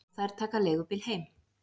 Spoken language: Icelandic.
Og þær taka leigubíl heim.